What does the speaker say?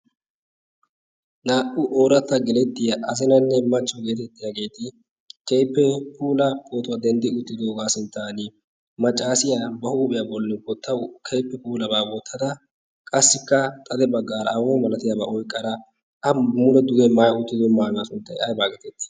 naa'u ooratta gelettiya azinanne machcho geetettiyaageeti keippe puula pootuwaa denddi uttidoogaa sinttan maccaasiyaa ba huuphiyaa bolli bottau keippe puulabaa boottada qassikka xade baggaara aawani malatiyaabaa oyqqaraa a muune duge maaa uttido maanaa sunttay ay baa geteeti?